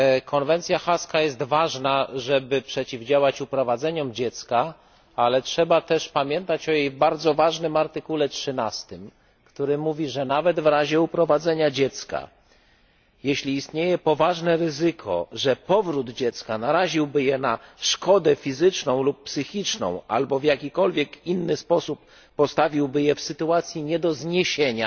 Konwencja haska jest ważna, żeby przeciwdziałać uprowadzeniom dzieci, ale trzeba też pamiętać o jej bardzo ważnym artykule 13, który mówi, że nawet w razie uprowadzenia dziecka, jeśli istnieje poważne ryzyko, że powrót dziecka naraziłby je na szkodę fizyczną lub psychiczną albo w jakikolwiek inny sposób postawiłby je w sytuacji nie do zniesienia,